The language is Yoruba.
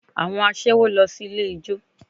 Àwọn aṣẹ́wó lọ sí ilé ijó